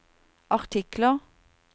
artikler